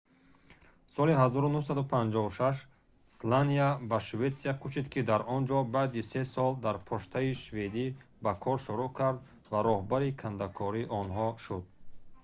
соли 1956 сланя ба шветсия кӯчид ки дар онҷо баъди се сол дар почтаи шведӣ ба кор шурӯъ кард ва роҳбари кандакори онҳо шуд